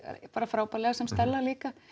frábærlega sem Stella líka